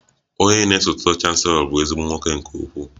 Onye na-esote chancelo bụ ezigbo nwoke nke ukwuu